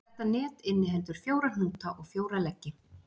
Þetta net inniheldur fjóra hnúta og fjóra leggi.